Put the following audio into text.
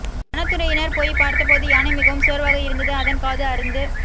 வனத்துறையினர் போய்ப் பார்த்த போது யானை மிகவும் சோர்வாக இருந்தது அதன் காது அறுந்து